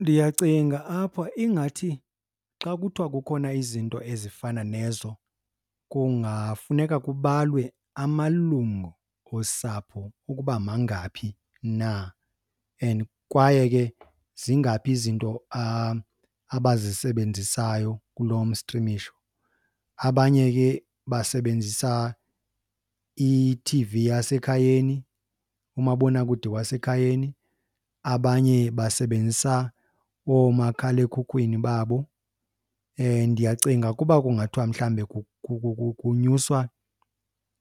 Ndiyacinga apha ingathi xa kuthiwa kukhona izinto ezifana nezo kungafuneka kubalwe amalungu osapho ukuba mangaphi na and kwaye ke zingaphi izinto abazisebenzisayo kulo mstrimisho. Abanye ke basebenzisa i-T_V yasekhayeni, umabonakude wasekhayeni, abanye basebenzisa oomakhalekhukhwini babo. Ndiyacinga ukuba kungathwa mhlawumbe kunyuswa